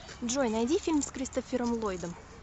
джой найди фильм с кристофером ллойдом